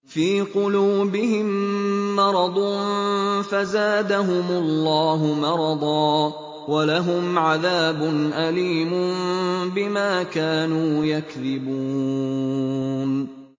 فِي قُلُوبِهِم مَّرَضٌ فَزَادَهُمُ اللَّهُ مَرَضًا ۖ وَلَهُمْ عَذَابٌ أَلِيمٌ بِمَا كَانُوا يَكْذِبُونَ